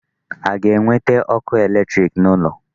A ga-ewete ọkụ electric n'ụlọ?